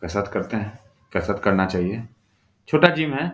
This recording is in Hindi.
कसरत करते हैं। कसरत करना चाहिए। छोटा जिम है।